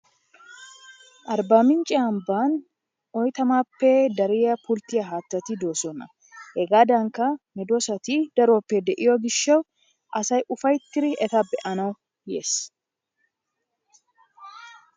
Arbaamincce ambban oyttamaappe dariya pultiya haattati de'oososna. Hegaadankka medoosati daroppe de'iyo gishshawu asay ufayttidi eta be'anawu yiis.